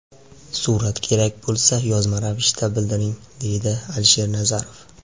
Surat kerak bo‘lsa, yozma ravishda bildiring, deydi Alisher Nazarov.